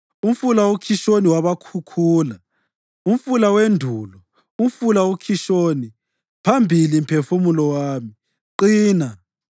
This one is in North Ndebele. Umfula uKhishoni wabakhukhula, umfula wendulo, umfula uKhishoni. Phambili, mphefumulo wami; Qina!